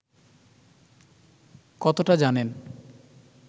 কতটা জানেন